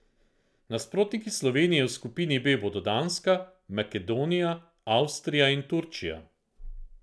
Nasprotniki Slovenije v skupini B bodo Danska, Makedonija, Avstrija in Turčija.